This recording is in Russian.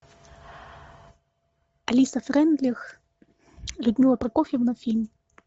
алиса фрейндлих людмила прокофьевна фильм